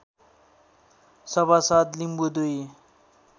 सभासद लिम्बू दुई